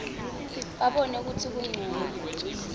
babona kutsi kuncono